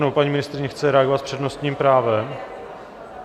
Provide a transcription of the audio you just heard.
Nebo paní ministryně chce reagovat s přednostním právem?